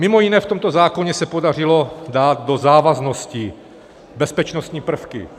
Mimo jiné, v tomto zákoně se podařilo dát do závaznosti bezpečnostní prvky.